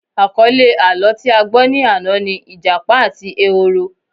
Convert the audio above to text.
Àkọlé àlọ́ tí a gbọ́ ni àná ni Ìjápa àti ehoro